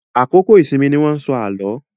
Àkókò ìsinmi ni wọ́n ń sọ àlọ́.